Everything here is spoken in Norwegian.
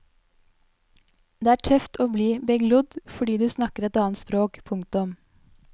Det er tøft å bli beglodd fordi du snakker et annet språk. punktum